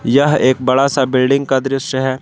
यह एक बड़ा सा बिल्डिंग का दृश्य है।